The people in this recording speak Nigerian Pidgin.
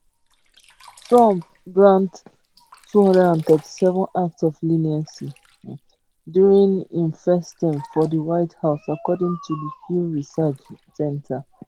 trump grant 237 acts of leniency um during im first term for di white house according to di pew research um center